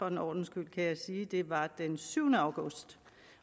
en ordens skyld kan jeg sige at det var den syvende august